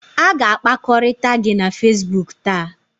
A ga-akpakọrịta gị na Facebook taa